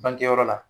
Bangeyɔrɔ la